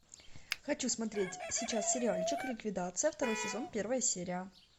хочу смотреть сейчас сериальчик ликвидация второй сезон первая серия